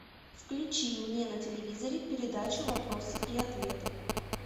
включи мне на телевизоре передачу вопросы и ответы